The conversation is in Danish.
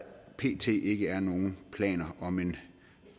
pt ikke er nogen planer om en